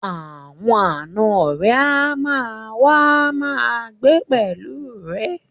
Àwọn ànọ́ rẹ̀ á ma wá ma gbé pẹ̀lú rẹ̀